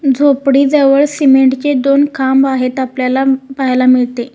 झोपडी जवळ सिमेंटचे दोन खांब आहेत आपल्याला पाहायला मिळते.